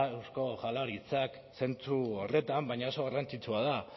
eusko jaularitzak zentzu horretan baina oso garrantzitsua da